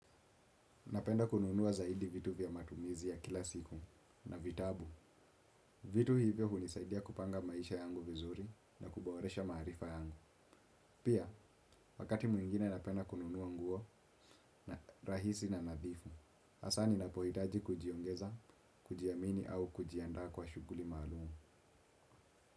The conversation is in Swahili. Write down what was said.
Napenda kununua zaidi vitu vya matumizi ya kila siku na vitabu. Vitu hivyo hunisaidia kupanga maisha yangu vizuri na kuboresha maarifa yangu. Pia, wakati mwingine napenda kununua nguo na rahisi na nadhifu. Asa ninapohitaji kujiongeza, kujiamini au kujianda kwa shuguli maalumu.